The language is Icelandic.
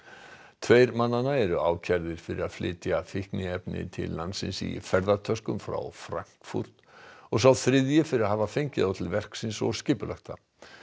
tveir mannanna eru ákærðir fyrir að flytja fíkniefnin til landsins í ferðatöskum frá Frankfurt og sá þriðji fyrir að hafa fengið þá til verksins og skipulagt það